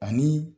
Ani